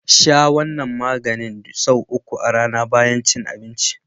Sha wannan maganin sau uku a rAna bayan cin abinci.